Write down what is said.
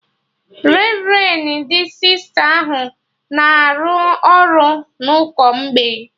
Revrendi Sista ahụ na-arụ ọrụ na ụkọ mgbei